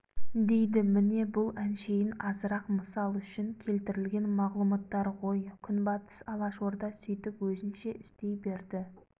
дейді міне бұл әншейін азырақ мысал үшін келтірілген мағлұматтар ғой күнбатыс алашорда сөйтіп өзінше істей берді